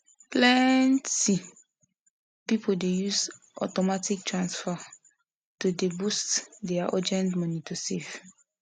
plenty people dey use automatic transfer steady to dey boost their urgent money to save